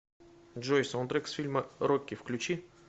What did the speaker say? джой саундтрек с фильма рокки включи